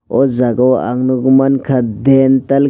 o jaga o ang nogoi mangka dhentel.